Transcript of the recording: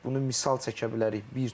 Bunu misal çəkə bilərik.